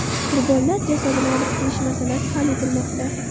Qurbonlar jasadini olib kelish masalasi hal etilmoqda.